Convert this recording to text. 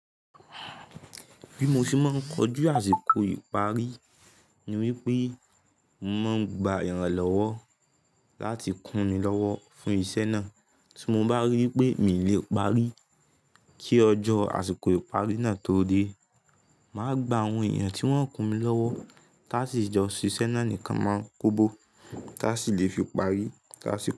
Bí mo ṣe máa ń kojú àsìkò ìparí ni wípé mo màá ń gba èràn lọ́wọ́ láti kún mi lọ́wọ́ fún iṣẹ́ náà tí mo bá rí wipé mi ò lè parí kí ọjọ́ àsìkò ìparí náà tó dé. Màá gba àwọn èèyàn tí wọ́n ń kún mi lọ́wọ́ táàṣì ìjọ ṣíṣe náà nìkan máa ń kóbo táàṣì lè fi parí táàṣì pé.